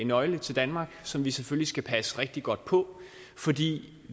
nøgle til danmark som vi selvfølgelig skal passe rigtig godt på fordi